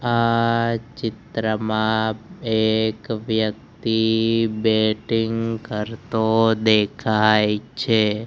આ ચિત્રમાં એક વ્યક્તિ બેટિંગ કરતો દેખાય છે.